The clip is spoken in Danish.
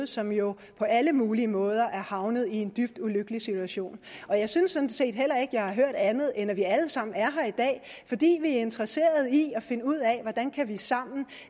som jo på alle mulige måder er havnet i en dybt ulykkelig situation i og jeg synes sådan set heller ikke jeg har hørt andet end at vi alle sammen er her i dag fordi vi er interesserede i at finde ud af hvordan vi sammen kan